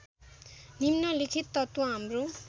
निम्नलिखित तत्त्व हाम्रो